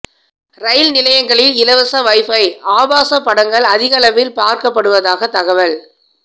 ரயில் நிலையங்களில் இலவச வைபை ஆபாச படங்கள் அதிகளவில் பார்க்கப்படுவதாக தகவல்